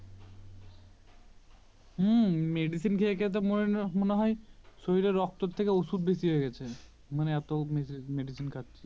হম Medicine খেয়ে খেয়ে তো মনে হয় শরীরের রক্তর থেকে ওষুধ বেশি হয়ে গেছে এত মে Medicine খাচ্ছি